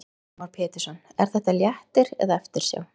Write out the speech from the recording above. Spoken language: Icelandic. Heimir Már Pétursson: Er þetta léttir eða eftirsjá?